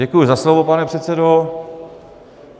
Děkuji za slovo, pane předsedo.